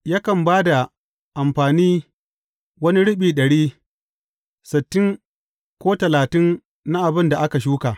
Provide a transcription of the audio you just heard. Yakan ba da amfani wani riɓi ɗari, sittin, ko talatin na abin da aka shuka.